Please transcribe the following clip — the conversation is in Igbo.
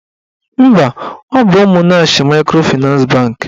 Mba, ọ bụ Ụmụnnachi maịkrofịnans bankị